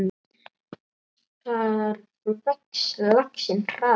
Þar vex laxinn hraðar.